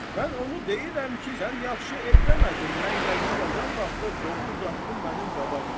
Mən onu deyirəm ki, sən yaxşı eləmədin, mən yazı yazan vaxtı qovu uzatdın mənim qabağıma.